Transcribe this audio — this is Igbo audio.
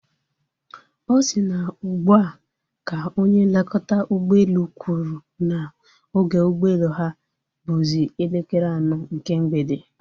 Ọ si na ugbua ka onye nlekọta ụgbọelu kwụrụ na oge ụgbọelu ha bụzi elekere anọ nke mgbede